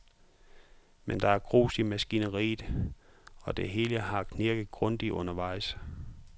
Men der er grus i maskineriet, og det hele har knirket grundigt undervejs.